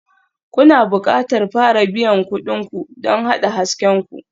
Kuna buƙatar fara biyan kuɗin ku don haɗa hasken ku.